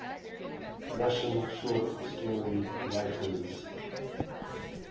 russian short story writers